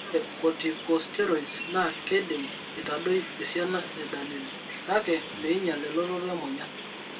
Ore Corticosteroids naa keidim aitadoi esiana e dalili ,kake meinyial elototo emoyian.